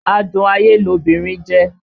Adún ayé lobìnrin jẹ́